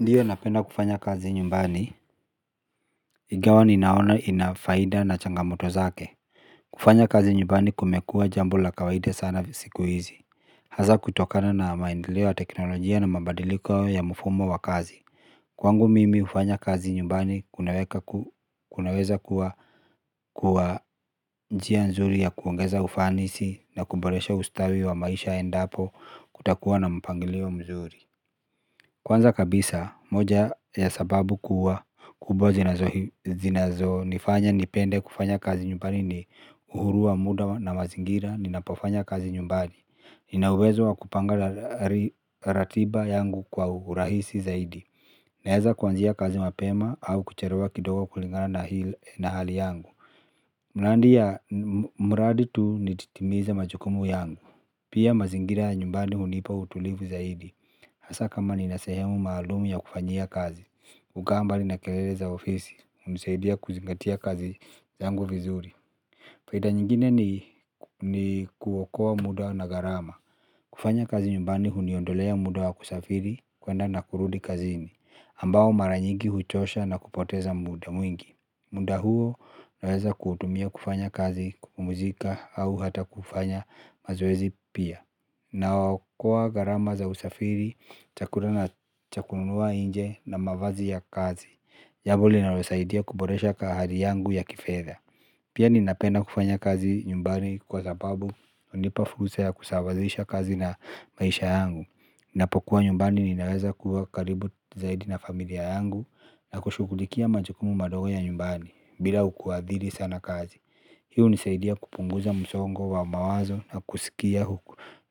Ndiyo napenda kufanya kazi nyumbani ingawa ninaona inafaida na changamoto zake. Kufanya kazi nyumbani kumekuwa jambo la kawaida sana siku hizi. Haza kutokana na maendeleo ya teknolojia na mabadiliko ya mfumo wa kazi. Kwangu mimi ufanya kazi nyumbani kunaweza kuwa kuwa njia nzuri ya kuongeza ufanisi na kuboresha ustawi wa maisha endapo kutakuwa na mpangilio mzuri. Kwanza kabisa, moja ya sababu kuwa kubwa zinazo nifanya nipende kufanya kazi nyumbani ni uhuru wa muda na mazingira ninapafanya kazi nyumbani. Inauwezo wakupanga ratiba yangu kwa urahisi zaidi. Naeza kuanzia kazi mapema au kuchelewa kidogo kulingana na hili na hali yangu. Mradiya, muradi tu nititimize majukumu yangu. Pia mazingira ya nyumbani hunipa utulivu zaidi. Hasa kama ni nasehemu maalum ya kufanyia kazi, hukaa mbali na kelele za ofisi, unisaidia kuzingatia kazi zangu vizuri. Faida nyingine ni kuokoa muda na gharama. Kufanya kazi nyumbani huniondolea muda wa kusafiri kwenda na kurudi kazini, ambao maranyingi huchosha na kupoteza muda mwingi. Muda huo naweza kuutumia kufanya kazi kupumuzika au hata kufanya mazoezi pia. Na waokoa gharama za usafiri, chakulana cha kununua inje na mavazi ya kazi jambo linalosaidia kuboresha kahari yangu ya kifedha. Pia ninapenda kufanya kazi nyumbani kwa zapabu hunipa fursa ya kusawazisha kazi na maisha yangu. Napokuwa nyumbani ninaweza kuwa karibu zaidi na familia yangu. Na kushughulikia majukumu madogo ya nyumbani bila ukuadhiri sana kazi. Hii unisaidia kupunguza msongo wa mawazo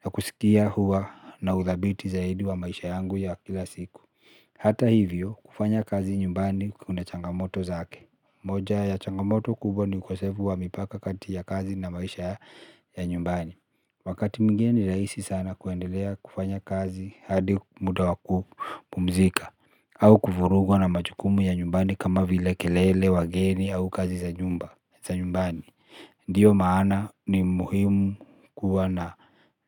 na kuskia huwa na uthabiti zaidi wa maisha yangu ya kila siku. Hata hivyo kufanya kazi nyumbani kuna changamoto zake. Moja ya changamoto kubwa ni ukosevu wa mipaka kati ya kazi na maisha ya nyumbani. Wakati mwingine ni rahisi sana kuendelea kufanya kazi hadi muda wakupumzika. Au kuvurugwa na majukumu ya nyumbani kama vile kelele wageni au kazi za nyumba za nyumbani. Ndiyo maana ni muhimu kuwa na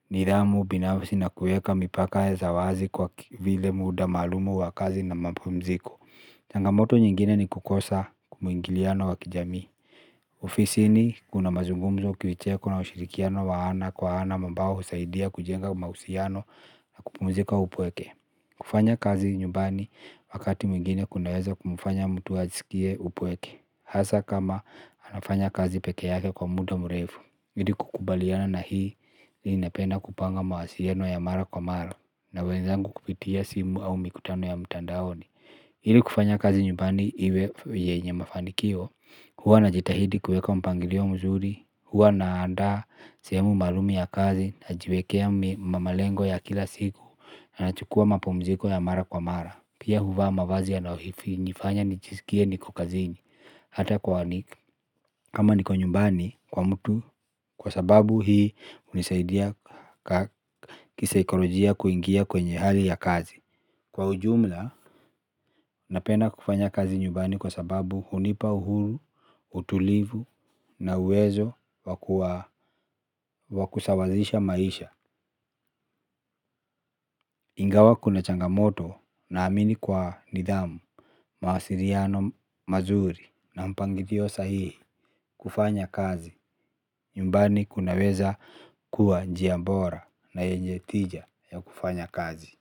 nidhamu, binafisi na kuweka mipaka ya za wazi kwa vile muda maalumu wa kazi na mapumziko. Jangamoto nyingine ni kukosa mwingiliano wa kijamii. Ofisi ni kuna mazungumzo kivicheko na ushirikiano wa ana kwa ana mambao husaidia kujenga kumahusiano na kupumzika upweke. Kufanya kazi nyumbani wakati mwingine kunaweza kumfanya mtu askie upweke. Hasa kama anafanya kazi peke yake kwa muda murefu ili kukubaliana na hii ninapenda kupanga mawasiliano ya mara kwa mara. Na wenzangu kupitia simu au mikutano ya mtandaoni ili kufanya kazi nyumbani iwe yenye mafanikio. Huwa najitahidi kuweka mpangilio mzuri. Huwa naandaa sehemu maalum ya kazi. Najiwekea malengo ya kila siku na nachukua mapumziko ya mara kwa mara. Pia huvaa mavazi ya naohifi nifanya nijiskie niko kazini. Hata kwa nik kama niko nyumbani kwa mtu. Kwa sababu hii unisaidia kisaikolojia kuingia kwenye hali ya kazi. Kwa ujumla napenda kufanya kazi nyumbani kwa sababu hunipa uhuru, utulivu na uwezo wakusawazisha maisha. Ingawa kuna changamoto na amini kwa nidhamu. Mawasiriano mazuri na mpangilio sa hihi kufanya kazi, nyumbani kunaweza kuwa njiambora na yenyetija ya kufanya kazi.